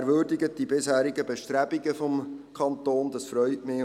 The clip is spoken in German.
Der Motionär würdigt die bisherigen Bestrebungen des Kantons, das freut mich.